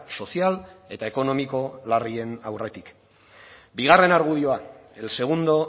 sozial eta ekonomiko larrien aurretik bigarren argudioa el segundo